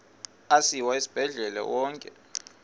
asiwa esibhedlele onke